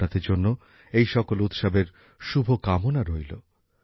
আপনাদের জন্য প্রতিটি উৎসবের শুভকামনা রইল